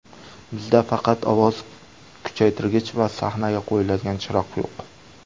Bizda faqat ovoz kuchaytirgich va sahnaga qo‘yiladigan chiroq yo‘q.